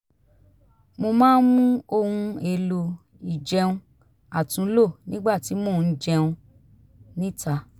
mo máa ń mú ohun èlò ìjẹun àtúnlò nígbà tí mo ń jẹun níta